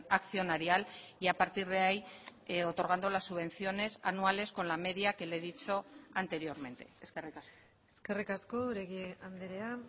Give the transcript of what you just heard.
accionarial y a partir de ahí otorgando las subvenciones anuales con la media que le he dicho anteriormente eskerrik asko eskerrik asko oregi andrea